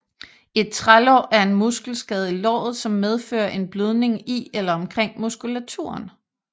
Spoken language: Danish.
Et trælår er en muskelskade i låret som medfører en blødning i eller omkring muskulaturen